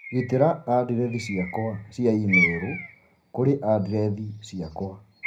gitĩra andirethi ciakwa cia i-mīrū kũrĩ andirethi ciakwa